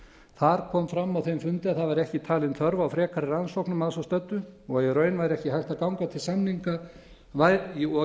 þar kom fram á þeim fundi að það væri ekki talin þörf á frekari rannsóknum að svo stöddu og í